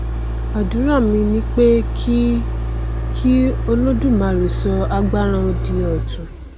àdúrà mi ni pé kí kí olódùmarè sọ agbára wọn di ọtun